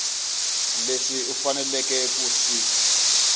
leswi u faneleke ku swi